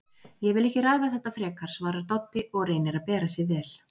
Ég vil ekki ræða þetta frekar, svarar Doddi og reynir að bera sig vel.